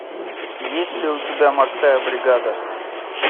есть ли у тебя морская бригада